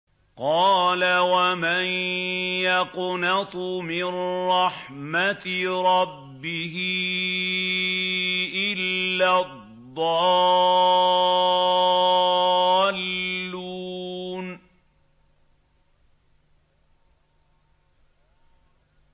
قَالَ وَمَن يَقْنَطُ مِن رَّحْمَةِ رَبِّهِ إِلَّا الضَّالُّونَ